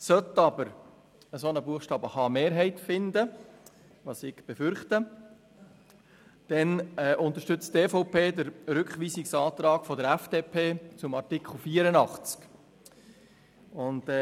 Sollte aber ein solcher Buchstabe h eine Mehrheit finden – was ich befürchte –, unterstützt die EVP den Rückweisungsantrag der FDP von Artikel 84.